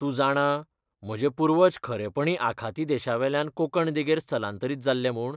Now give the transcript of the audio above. तूं जाणां, म्हजे पूर्वज खरेपणी आखाती देशांतल्यान कोंकण देगेर स्थलांतरीत जाल्ले म्हूण?